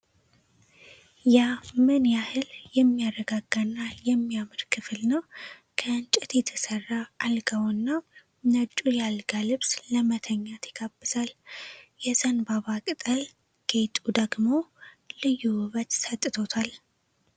ያ ምን ያህል የሚያረጋጋ እና የሚያምር ክፍል ነው! ከእንጨት የተሰራው አልጋውና ነጩ የአልጋ ልብስ ለመተኛት ይጋብዛል! የዘንባባ ቅጠል ጌጡ ደግሞ ልዩ ውበት ሰጥቶታል!